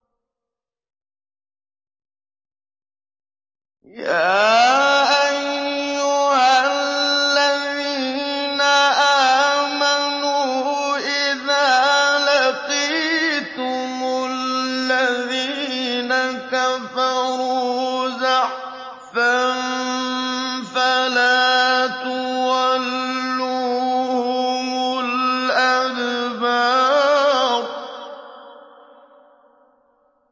يَا أَيُّهَا الَّذِينَ آمَنُوا إِذَا لَقِيتُمُ الَّذِينَ كَفَرُوا زَحْفًا فَلَا تُوَلُّوهُمُ الْأَدْبَارَ